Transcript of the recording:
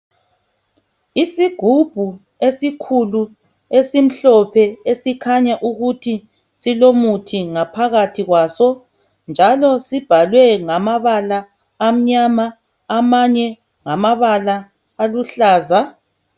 Isigubhu esikhulu esimhlophe esikhanya ukuthi silomuthi ngaphakathi kwaso njalo sibhalwe ngamabala amnyama amanye ngamabala aluhlaza